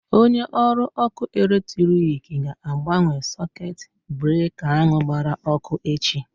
Onye ọrụ ọkụ electriki ga-agbanwe sekuit breka ahụ gbara ọkụ echi.